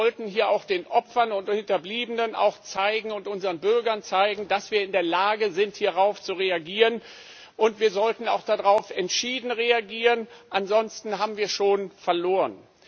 Wir sollten hier auch den Opfern und Hinterbliebenen und unseren Bürgern zeigen, dass wir in der Lage sind, hierauf zu reagieren, und wir sollten auch entschieden darauf reagieren, ansonsten haben wir schon verloren.